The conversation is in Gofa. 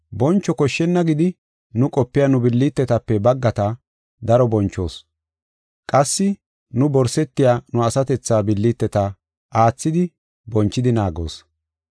Boncho koshshenna gidi nu qopiya nu billitetape baggata daro bonchoos. Qassi nu borsetiya nu asatethaa billiteta aathidi bonchidi naagoos.